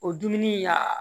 O dumuni ya